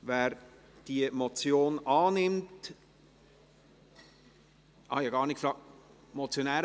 Wer die Motion annimmt ... Ich habe gar nicht nachgefragt, Entschuldigung.